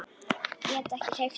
Get ekki hreyft mig.